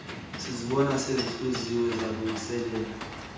sizibona sezihluziwe zalungiseleelwa